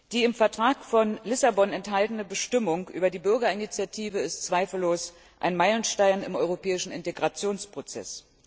Die im Vertrag von Lissabon enthaltene Bestimmung über die Bürgerinitiative ist zweifellos ein Meilenstein im europäischen Integrationsprozess.